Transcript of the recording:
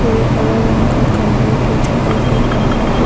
और एक हर रंग का कंबल भी दिखाई दे रहा है।